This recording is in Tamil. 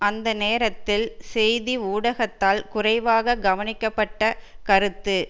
அந்த நேரத்தில் செய்தி ஊடகத்தால் குறைவாகக் கவனிக்கப்பட்ட கருத்து